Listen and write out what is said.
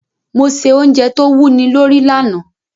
Mo se ounje to wúni lórí lanàá